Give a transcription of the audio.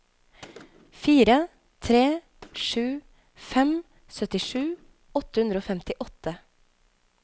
fire tre sju fem syttisju åtte hundre og femtiåtte